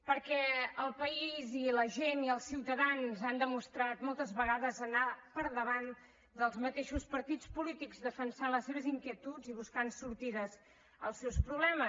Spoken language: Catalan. perquè el país i la gent i els ciutadans han demostrat moltes vegades anar per davant dels mateixos partits polítics defensant les seves inquietuds i buscant sortides als seus problemes